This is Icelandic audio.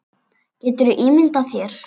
Geturðu ímyndað þér.